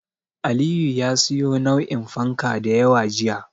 Aliyu ya siyo nau'in fanka da yawa jiya.